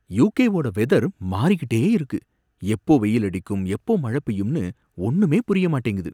UK வோட weather மாறிக்கிட்டே இருக்கு, எப்போ வெயிலடிக்கும் எப்போ மழை பெய்யும்னு ஒன்னுமே புரிய மாட்டேங்குது.